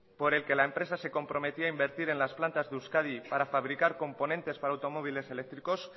por el que la empresa se comprometía a invertir en las plantas de euskadi para fabricar componentes para automóviles eléctricos